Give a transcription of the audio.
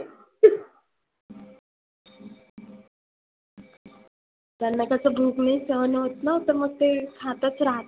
त्यांना कसं भुक नई सहन होत ना मग ते खातच राहतात.